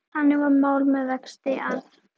Þannig var mál með vexti, að